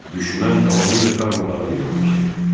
Düşmən tamamilə darmadağın edilmişdir.